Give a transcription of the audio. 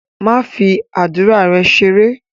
Don't joke with your prayers!